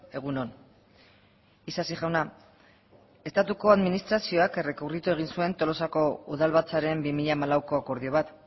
egun on isasi jauna estatuko administrazioak errekurritu egin zuen tolosako udalbatzaren bi mila hamalauko akordio bat